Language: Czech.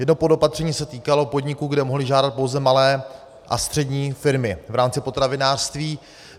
Jedno podopatření se týkalo podniků, kde mohly žádat pouze malé a střední firmy v rámci potravinářství.